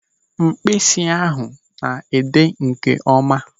Mkpịsị ahụ na-ede nkeọma.